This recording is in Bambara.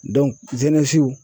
w